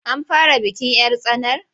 An fara bikin 'yar tsanar?